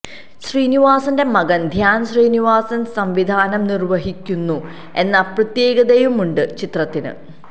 ശ്രനിവാസന്റെ മകന് ധ്യാന് ശ്രീനിവാസന് സംവിധാനം നിര്വ്വഹിക്കുന്നു എന്ന പ്രത്യേകതയുമുണ്ട് ചിത്രത്തിന്